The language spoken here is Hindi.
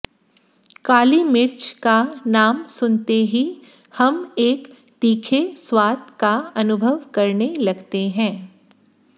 काली मिर्च का नाम सुनते ही हम एक तीखे स्वाद का अनुभव करने लगते हैं